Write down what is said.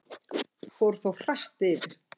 Fór þó hratt yfir.